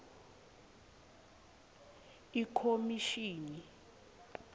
ikhomishini